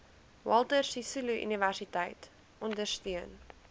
walter sisuluuniversiteit ondersteun